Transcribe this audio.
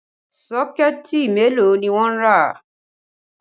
Sọ́kẹ̀ẹ̀tì mélòó ni wọ́n rà?